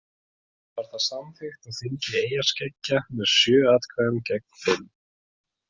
Var það samþykkt á þingi eyjaskeggja með sjö atkvæðum gegn fimm.